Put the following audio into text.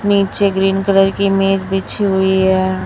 नीचे green colour की मेज बिछी हुई है।